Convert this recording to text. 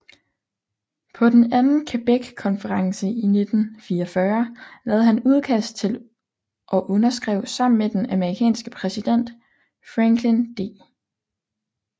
På den Anden Quebeckonference i 1944 lavede han udkast til og underskrev sammen med den amerikanske præsident Franklin D